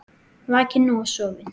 Vakinn og sofinn.